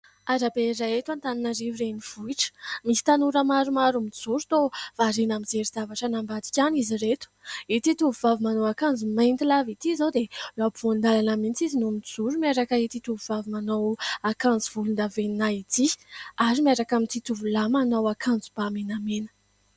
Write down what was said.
Arabe iray eto Antananarivo renivohitra misy tanora maromaro mijoro toa variana mijery zavatra any ambadika any izy ireto ity tovovavy manao akanjo mainty lava ity izao dia eo afovoan-dalana mihitsy izy no mijoro miaraka ity tovovavy manao akanjo volondavenona ity ary miaraka amin'ity tovolahy manao akanjoba menamena.